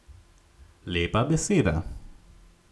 Lepa beseda.